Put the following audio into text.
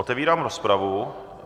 Otevírám rozpravu.